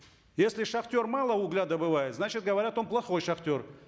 если шахтер мало угля добывает значит говорят он плохой шахтер